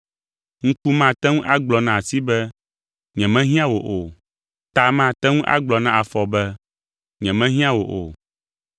Ŋku mate ŋu agblɔ na asi be, “Nyemehiã wò o.” Ta mate ŋu agblɔ na afɔ be, “Nyemehiã wò o.”